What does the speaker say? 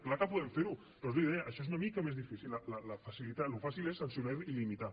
clar que podem fer ho però és la idea això és una mica més difícil el que és fàcil és sancionar i limitar